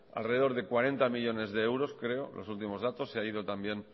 alrededor de cuarenta millónes de euros creo los últimos datos se ha ido también